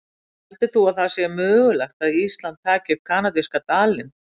En heldur þú að það sé mögulegt að Ísland taki upp kanadíska dalinn?